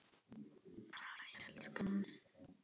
Hæ, elskan.